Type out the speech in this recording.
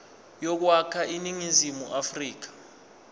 yokwakha iningizimu afrika